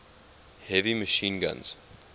heavy machine guns